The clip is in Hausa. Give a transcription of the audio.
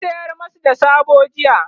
na sayar masu da soɓo jiya